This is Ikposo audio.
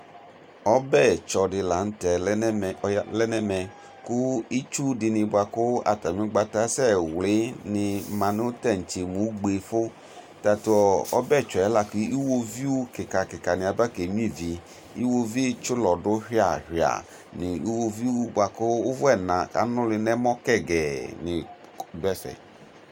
Ɔbɛtsɔ di la nʋ tɛ lɛ nɛmɛ, ɔya, lɛ nɛmɛ kʋ itsu dini boa kʋ atami ʋgbata asɛwli ni ma nʋ tantse mʋ ugbe fʋ Tatʋ ɔbɛtsɔ yɛ la kʋ iwɔviʋ kika kika ni abekenyua ivi Iwɔviʋ tsi ʋlɔ dʋ yuia yuia ni nʋ iwɔviʋ ni boa kʋ ʋvʋ ɛna kʋ anʋli n'ɛmɔ kɛgɛɛ ni dʋ ɛfɛ